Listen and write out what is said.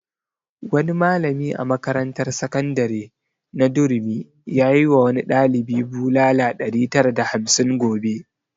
Wani malami a makarantar sakandare na durumi yayi wa wani ɗalibi bulala ɗari tara da hamsin gobe